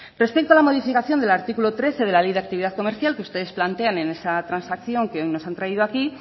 respecto a la modificación del artículo trece de la ley de actividad comercial que ustedes plantean en esa transacción que hoy nos han traído aquí